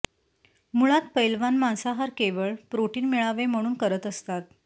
मुळात पैलवान मांसाहार केवळ प्रोटीन मिळावे म्हणून करत असतात